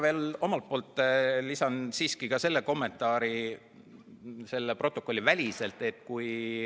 Ma lisan siiski ka ühe protokollivälise kommentaari.